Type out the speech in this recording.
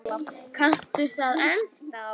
Kanntu það ennþá?